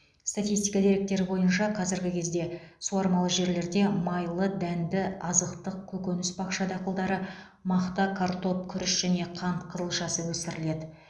статистика деректері бойынша қазіргі кезде суармалы жерлерде майлы дәнді азықтық көкөніс бақша дақылдары мақта картоп күріш және қант қызылшасы өсіріледі